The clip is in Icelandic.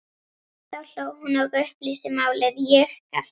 Þá hló hún og upplýsti málið, ég gapti.